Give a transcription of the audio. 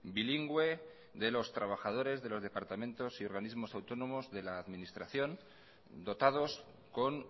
bilingüe de los trabajadores de los departamentos y organismos autónomos de la administración dotados con